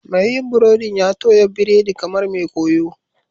Mai yin burodin ya toya biredi kamar mai koyo